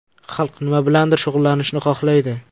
Xalq nima bilandir shug‘ullanishni xohlaydi.